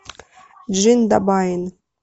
джиндабайн